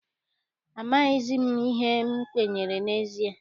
Amaghịzi m ihe m kwenyere n'ezie.